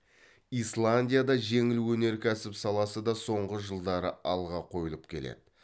исландияда жеңіл өнеркәсіп саласы да соңғы жылдары алға қойылып келеді